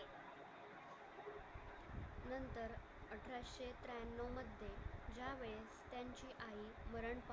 अठराशे त्र्याण्णव मध्ये यावेळेस त्यांची आई मरण